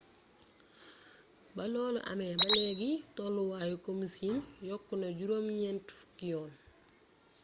ba loolu amee ba léegi tolluwaayu komu siin yokku na juróom ñenti fukki yoon